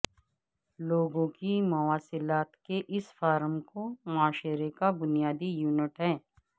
لوگوں کی مواصلات کے اس فارم کو معاشرے کا بنیادی یونٹ ہے